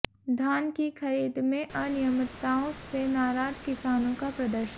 धान की खरीद में अनियमितताओं से नाराज किसानों का प्रदर्शन